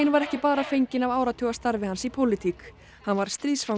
var ekki bara fengin af áratuga starfi hans í pólitík hann var